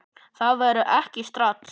Það verður ekki strax